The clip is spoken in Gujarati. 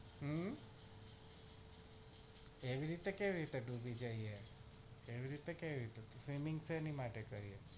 હમ એવી રીતે કેવી રીતે ડૂબી જઈએ એવી તે કેવી તે swimming શેની માટે કરી છે?